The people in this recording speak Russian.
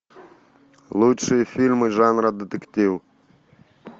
лучшие фильмы жанра детектив